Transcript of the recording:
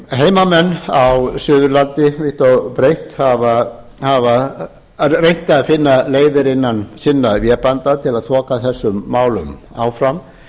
heimamenn á suðurlandi vítt og breitt hafa reynt að finna leiðir innan sinna vébanda til að þoka þessum málum áfram